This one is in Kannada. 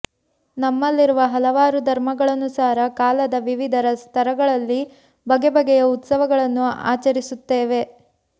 ನಮ್ಮಲ್ಲಿರುವ ಹಲವಾರು ಧರ್ಮಗಳನುಸಾರ ಕಾಲದ ವಿವಿಧ ಸ್ತರಗಳಲ್ಲಿ ಬಗೆಬಗೆಯ ಉತ್ಸವಗಳನ್ನು ಆಚರಿಸುತ್ತೇವೆ